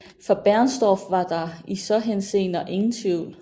For Bernstorff var der i så henseende ingen tvivl